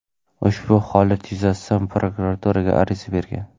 U ushbu holat yuzasidan prokuraturaga ariza bergan.